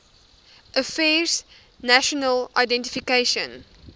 affairs national identification